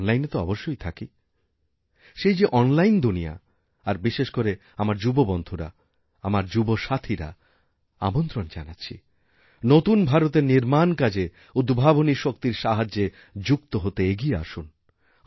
online এ তো অবশ্যই থাকি সেই যে অনলাইন দুনিয়া আরবিশেষ করে আমার যুব বন্ধুরা আমার যুবসাথীদের আমন্ত্রণ জানাচ্ছি নতুন ভারতেরনির্মাণ কাজে উদ্ভাবনী শক্তির সাহায্যে যুক্ত হতে এগিয়ে আসুন